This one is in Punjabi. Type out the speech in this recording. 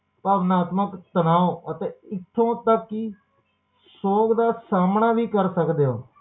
ਭਾਵਨਾਤਮਕ ਤਣਾਓ ਇਥੋਂ ਤਕ ਕਿ ਸੋਗ ਦਾ ਸਾਮਣਾ ਵੀ ਕਰ ਸਕਦੇ ਹੋ